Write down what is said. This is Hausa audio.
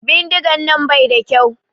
Bindigan nan bai da kyau.